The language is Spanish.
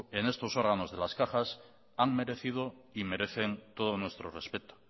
en estos órganos de las cajas han merecido y merecen todo nuestro respeto